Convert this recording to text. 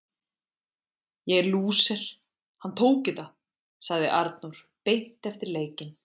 Ég er lúser, hann tók þetta sagði Arnór beint eftir leikinn.